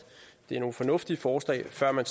det er nogle fornuftige forslag før man